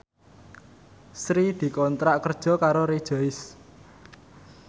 Sri dikontrak kerja karo Rejoice